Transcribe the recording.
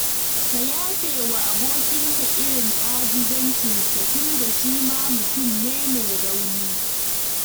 Ka yafe wa abokinka irin ajizancinsa tunda shi ma mutum ne mai rauni